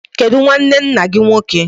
Kedu nnwanne nna gị nwoke?